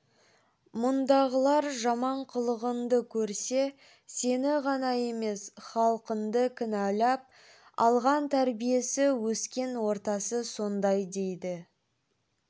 мұндағылар жаман қылығыңды көрсе сені ғана емес халқыңды кінәлап алған тәрбиесі өскен ортасы сондай дейді